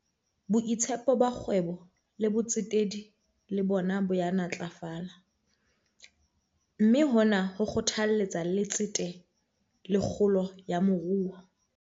Boitshepo ba kgwebo le botsetedi le bona bo ya ntlafala, mme hona ho kgothalletsa letsete le kgolo ya moruo.